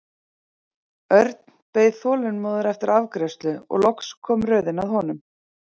Örn beið þolinmóður eftir afgreiðslu og loks kom röðin að honum.